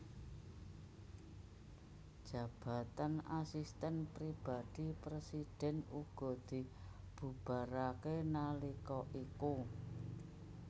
Jabatan Asisten Pribadi Presiden uga dibubarake nalika iku